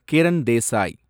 Kiran Desai